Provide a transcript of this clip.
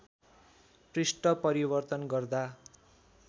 पृष्ठ परिवर्तन गर्दा